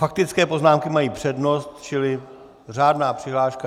Faktické poznámky mají přednost, čili řádná přihláška...